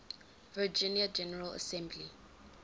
virginia general assembly